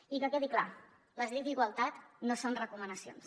i que quedi clar les lleis d’igualtat no són recomanacions